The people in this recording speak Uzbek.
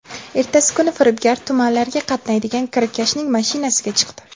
Ertasi kuni firibgar tumanlarga qatnaydigan kirakashning mashinasiga chiqdi.